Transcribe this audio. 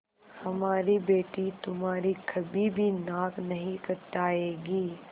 हमारी बेटी तुम्हारी कभी भी नाक नहीं कटायेगी